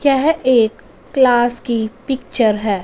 यह एक क्लास की पिक्चर है।